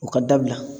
O ka dabila